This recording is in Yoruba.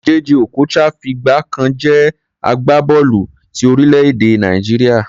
Jay Jay Okocha fìgbà kan jẹ́ agbábọ́ọ̀lù ti orílẹ̀-èdè Nàìjíríà.